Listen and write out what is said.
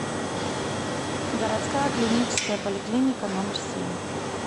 городская клиническая поликлиника номер семь